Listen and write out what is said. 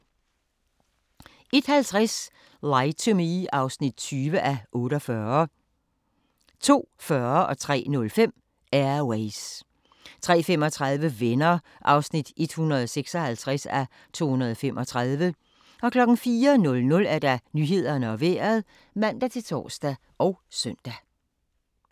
01:50: Lie to Me (20:48) 02:40: Air Ways 03:05: Air Ways 03:35: Venner (156:235) 04:00: Nyhederne og Vejret (man-tor og søn)